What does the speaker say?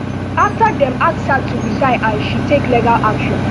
afta dem ask her to resign and she take legal action